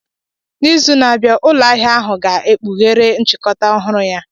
N'izu na-abịa, ụlọ ahịa ahụ ga-ekpughere nchịkọta ọhụrụ ya.